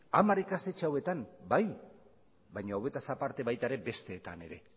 hamar ikastetxe hauetan bai baina horretaz aparte baita ere besteetan ere